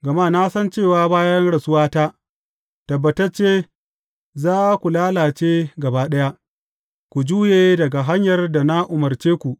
Gama na san cewa bayan rasuwata, tabbatacce za ku lalace gaba ɗaya, ku juye daga hanyar da na umarce ku.